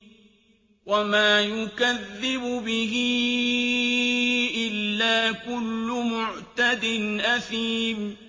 وَمَا يُكَذِّبُ بِهِ إِلَّا كُلُّ مُعْتَدٍ أَثِيمٍ